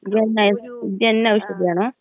ജന ജന ഔഷധിയാണോ?